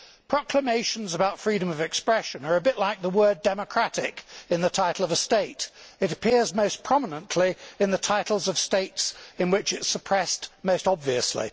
Proclamations about freedom of expression are a bit like the word democratic in the title of a state it appears most prominently in the titles of states in which it is suppressed most obviously.